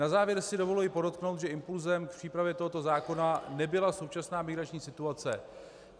Na závěr si dovoluji podotknout, že impulsem k přípravě tohoto zákona nebyla současná migrační situace.